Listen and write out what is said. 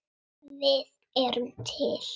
Við erum til!